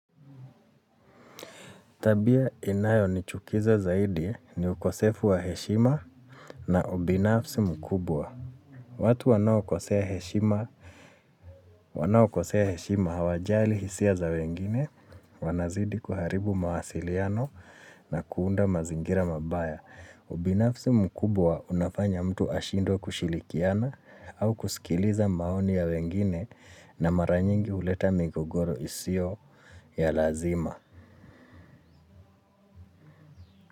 Tabia inayo ni chukiza zaidi ni ukosefu wa heshima na ubinafsi mkubwa. Watu wanao kosea heshima hawajali hisia za wengine, wanazidi kuharibu mawasiliano na kuunda mazingira mabaya. Ubinafsi mkubwa unafanya mtu ashindwe kushilikiana au kusikiliza maoni ya wengine na maranyingi huleta migogoro isio ya lazima.